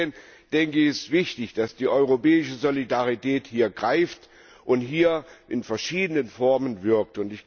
Deswegen ist es wichtig, dass die europäische Solidarität hier greift und hier in verschiedenen Formen wirkt.